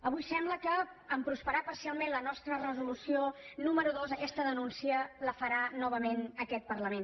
avui sembla que en prosperar parcialment la nostra resolució número dos aquesta denúncia la farà nova ment aquest parlament